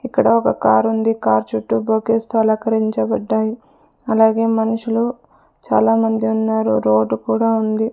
ఇక్కడ ఒక కారుంది కార్ చుట్టు బొకేస్ తో అలకరించబడ్డాయి అలాగే మన్షులు చాలామంది ఉన్నారు రోడ్డు కూడా ఉంది.